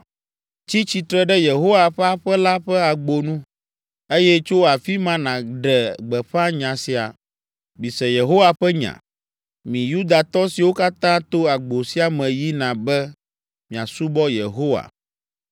“Tsi tsitre ɖe Yehowa ƒe aƒe la ƒe agbonu, eye tso afi ma nàɖe gbeƒã nya sia: “ ‘Mise Yehowa ƒe nya, mi Yudatɔ siwo katã to agbo sia me yina be miasubɔ Yehowa.